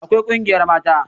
Akwai ƙungiyar mata